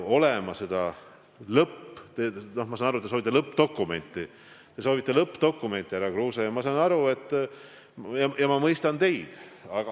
Ma saan aru, et te soovite lõppdokumenti, härra Kruuse, ja ma mõistan teid.